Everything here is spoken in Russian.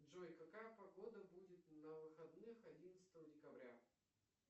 джой какая погода будет на выходных одиннадцатого декабря